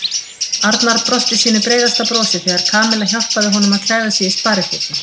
Arnar brosti sínu breiðasta brosi þegar Kamilla hjálpaði honum að klæða sig í sparifötin.